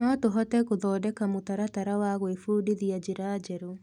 No tũhote gũthondeka mũtaratara wa gwĩbundithia njĩra njerũ.